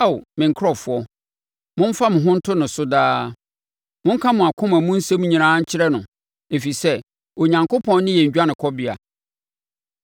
Ao me nkurɔfoɔ, momfa mo ho nto ne so daa; monka mo akoma mu nsɛm nyinaa nkyerɛ no, ɛfiri sɛ Onyankopɔn ne yɛn dwanekɔbea.